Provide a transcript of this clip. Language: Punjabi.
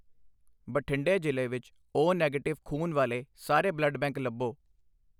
ਬਠਿੰਡੇ ਜ਼ਿਲ੍ਹੇ ਵਿੱਚ ਓ ਨੈਗੇਟਿਵ ਖ਼ੂਨ ਵਾਲੇ ਸਾਰੇ ਬਲੱਡ ਬੈਂਕ ਲੱਭੋ